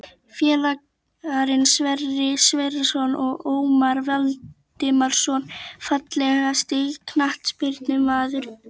Félagarnir Sverrir Sverrisson og Ómar Valdimarsson Fallegasti knattspyrnumaðurinn í deildinni?